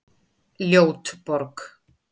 Ljót borg